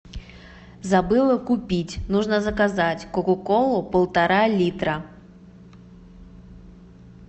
забыла купить нужно заказать кока колу полтора литра